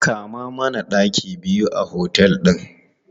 Kama mana ɗaki biyu a otel ɗin!